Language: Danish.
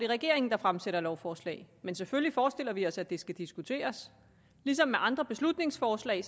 regeringen der fremsætter lovforslag men selvfølgelig forestiller vi os at det skal diskuteres ligesom andre beslutningsforslag